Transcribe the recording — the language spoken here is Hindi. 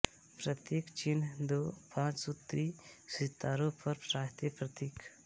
प्रतीक चिन्ह दो पांच सूत्री सितारों पर राष्ट्रीय प्रतीक